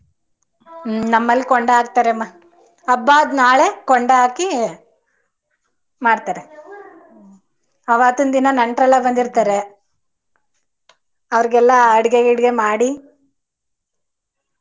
ಹ್ಮ್ ನಮ್ಮಲ್ ಕೊಂಡಾ ಹಾಕತರಮ್ಮ. ಹಬ್ಬ ಆದ ನಾಳೆ ಕೊಂಡಾ ಹಾಕಿ ಮಾಡ್ತಾರೆ . ಅವತಿನ ದಿನ ನೆಂಟರೆಲ್ಲಾ ಬಂದಿರ್ತಾರೆ ಅವರ್ಗೆಲ್ಲ ಅಡಿಗೆ ಗಿಡಗೆ ಮಾಡಿ.